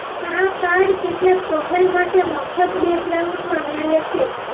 આ કાર્ડ કેટલાક પ્રોફાઇલ માટે મફત બેકગ્રાઉન્ડમાં મેળવે છે